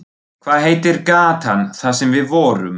Hvað heitir gatan þar sem við vorum?